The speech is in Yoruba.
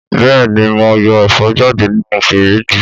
Bẹ́ẹ̀ni mo yọ ẹ̀fọ́ jáde nínú fíríjì